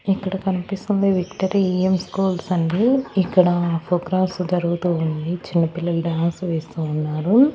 ఇక్కడ కనిపిస్తున్నది victory E M schools అండి ఇక్కడ ప్రోగ్రామ్స్ జరుగుతూ ఉంది చిన్నపిల్లలు డాన్స్ వేస్తూ ఉన్నారు.